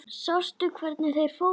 Sástu hvert þeir fóru?